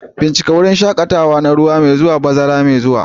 Bincika wurin shaƙatawa na ruwa mai zuwa, bazara mai zuwa.